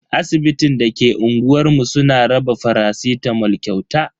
Asibitin da ke unguwar mu suna raba faracitamol kyauta.